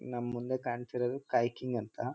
ನಮ್ ಮುಂದೆ ಕಾಣ್ತಿರದು ಕಾಯ್ಕಿಂಗ್ ಅಂತ.